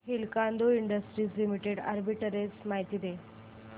Hindalco industries limited arbitrage माहिती दे